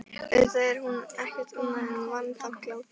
Auðvitað er hún ekkert annað en vanþakklát dekurrófa.